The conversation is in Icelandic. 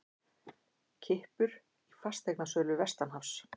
Kippur í fasteignasölu vestanhafs